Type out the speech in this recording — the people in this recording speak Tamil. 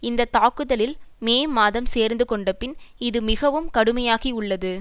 இந்த தாக்குதலில் மே மாதம் சேர்ந்து கொண்டபின் இது மிகவும் கடுமையாகி உள்ளது